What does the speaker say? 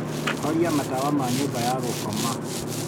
horia matawa ma nyũmba ya gũkoma.